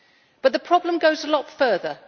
But the problem goes a lot further.